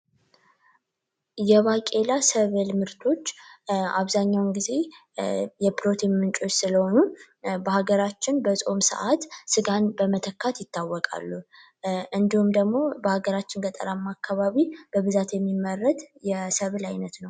የባቂላ ሰብል ምርቶች አብዛኛውን ጊዜ የፕሮቲን ምንጮች ስለሆኑ በሀገራችን በጾም ሰዓት ስጋን በመተካት ይታወቃሉ። እንዲሁም ደግሞ በሀገራችን ገጠራማ አካባቢ በብዛት የሚመረት የሰብል አይነት ነው።